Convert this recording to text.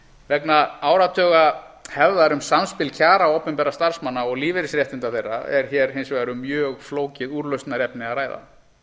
vegna áratuga hefðar um samspil kjara opinberra starfsmanna og lífeyrisréttinda er hér hins vegar um mjög flókið úrlausnarefni að ræða